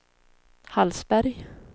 Hallsberg